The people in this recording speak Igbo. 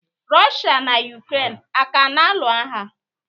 Rọshịa na Yukren a kana anụ agha?